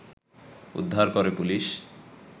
উদ্ধার করে পুলিশ